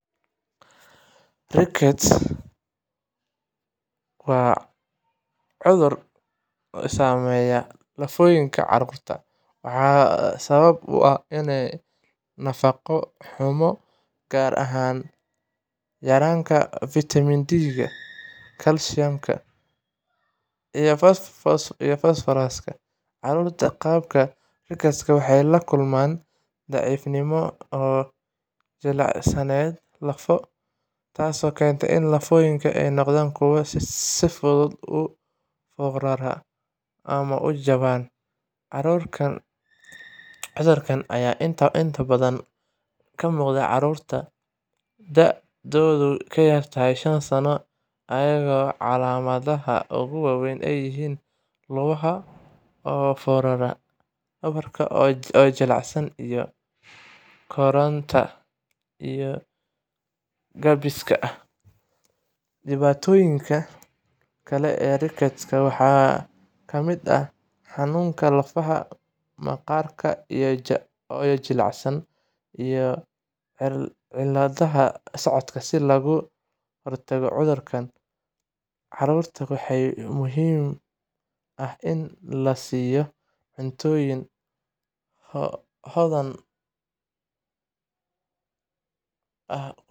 Rickets waa cudur saameeya lafooyinka carruurta, waxaana sabab u ah nafaqo xumo, gaar ahaan yaraanta fiitamiin D, kalsiyum, iyo fosfooraska. Carruurta qaba rickets waxay la kulmaan daciifnimo iyo jilicsanaan lafo, taasoo keenta in lafooyinka ay noqdaan kuwo si fudud u foorara ama u jabaan. Cudurkaan ayaa inta badan ka muuqda carruurta da'doodu ka yar tahay shan sano, iyadoo calaamadaha ugu waaweyn ay yihiin lugaha oo foorara, dhabarka oo jilicsan, iyo koritaanka oo gaabis ah. Dhibaatooyinka kale ee rickets-ka waxaa ka mid ah xanuunka lafta, maqaarka oo jilicsan, iyo cilladaha socodka. Si looga hortago cudurkaan, carruurta waxaa muhiim ah in la siiyo cuntooyin hodan ku ah fiitamiin D.